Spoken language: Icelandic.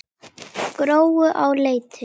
Gróu á Leiti.